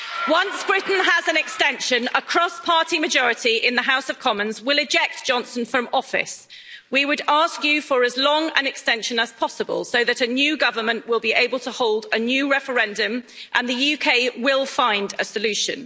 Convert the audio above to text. Once Britain has an extension, a cross party majority in the House of Commons will eject Johnson from office. We would ask you for as long an extension as possible so that a new government will be able to hold a new referendum and the UK will find a solution.